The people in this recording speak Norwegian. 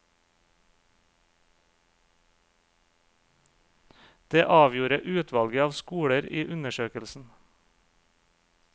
Det avgjorde utvalget av skoler i undersøkelsen.